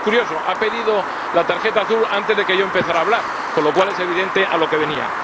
Y, además, es curioso ha pedido la tarjeta azul antes de que yo empezara a hablar, con lo cual es evidente a lo que venía.